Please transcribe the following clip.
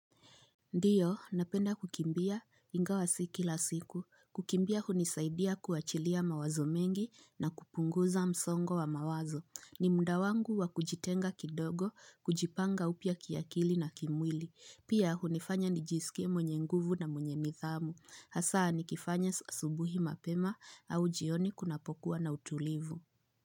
Ndiyo, napenda kukimbia, ingawa si kila siku. Kukimbia hunisaidia kuachilia mawazo mengi na kupunguza msongo wa mawazo. Ni mda wangu wa kujitenga kidogo, kujipanga upia kiakili na kimwili. Pia hunifanya nijisike mwenye nguvu na mwenye nithamu. Hasaa nikifanya asubuhi mapema au jioni kunapokuwa na utulivu.